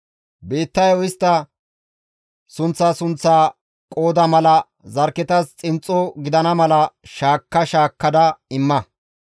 «Biittayo istta sunththa sunththa qooda mala zarkketas xinxxo gidana mala shaakka shaakkada imma.